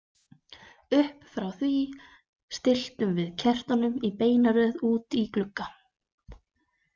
Upp frá því stilltum við kertunum í beina röð úti í glugga.